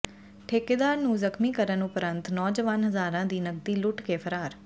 ਠੇਕੇਦਾਰ ਨੂੰ ਜ਼ਖ਼ਮੀ ਕਰਨ ਉਪਰੰਤ ਨੌਜਵਾਨ ਹਜ਼ਾਰਾਂ ਦੀ ਨਕਦੀ ਲੁੱਟ ਕੇ ਫ਼ਰਾਰ